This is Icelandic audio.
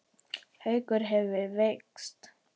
Haukur hefðu veikst.